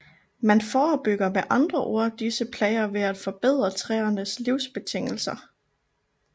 Man forebygger med andre ord disse plager ved at forbedre træernes livsbetingelser